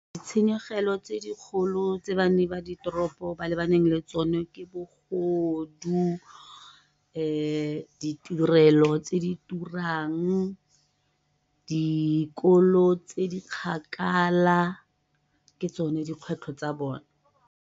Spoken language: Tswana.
Ditshenyegelo tse dikgolo tse banni ba di toropo ba lebaneng le tsone ke bogodu, ditirelo tse di turang, dikolo tse di kgakala, ke tsone dikgwetlho tsa bone.